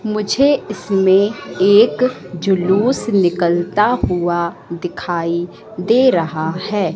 मुझे इसमें एक जुलूस निकलता हुआ दिखाई दे रहा है।